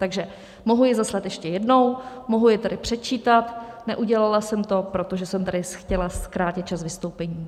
Takže mohu je zaslat ještě jednou, mohu je tady předčítat, neudělala jsem to, protože jsem tady chtěla zkrátit čas vystoupení.